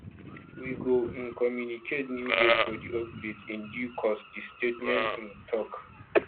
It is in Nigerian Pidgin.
we go um communicate new date for di upgrade in due course di statement um tok